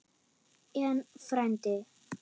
En, frændi